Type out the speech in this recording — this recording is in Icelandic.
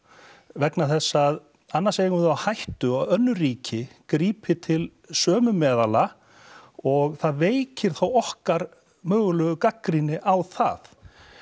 vegna þess að annars eigum við það á hættu að önnur ríki grípi til sömu meðala og það veikir þá okkar mögulegu gagnrýni á það